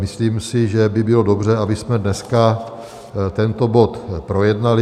Myslím si, že by bylo dobře, abychom dneska tento bod projednali.